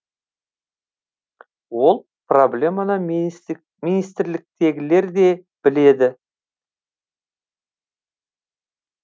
ол проблеманы министрліктегілер де біледі